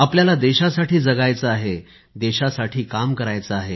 आपल्याला देशासाठी जगायचे आहे देशासाठी काम करायचे आहे